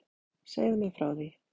Segðu mér frá því.